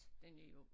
Den er jo